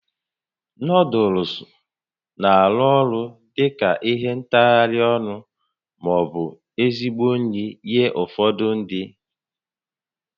Nuuduls na-arụ ọrụ dị ka ihe ntagharị ọnụ ma ọ bụ ezigbo nri nye ụfọdụ ndị